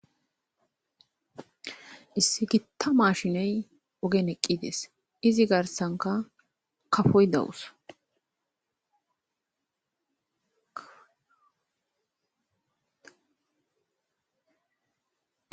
issi gitta ma shiney ogen eqqides izi garsanka kafoy dawus